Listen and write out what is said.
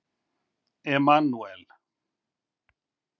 Emanúel